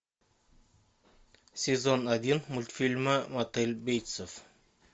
сезон один мультфильма мотель бейтсов